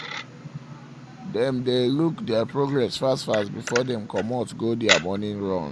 them dae look their progress um fast fast um before dem comot go dia morning um run